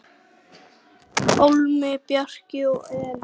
Pálmi, Bjarki og Elín.